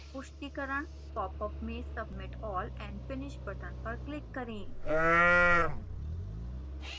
पुष्टिकरण popअप में submit all and finish button पर click करें